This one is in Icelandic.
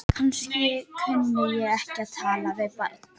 Kannski kunni ég ekki að tala við barn.